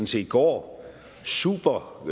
set går supergodt